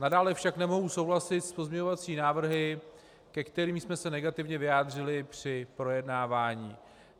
Nadále však nemohu souhlasit s pozměňovacími návrhy, ke kterým jsme se negativně vyjádřili při projednávání.